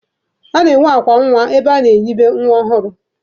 A na-enwe akwa nwa ebe a na-enibe nwa ọhụrụ.